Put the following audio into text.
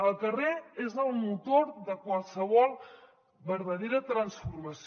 el carrer és el motor de qualsevol vertadera transformació